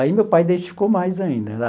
Aí meu pai identificou mais ainda.